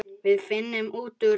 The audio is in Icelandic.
Við finnum út úr þessu.